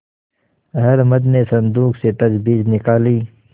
अहलमद ने संदूक से तजबीज निकाली